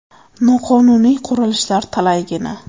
Noqonuniy qurilishlar talaygina.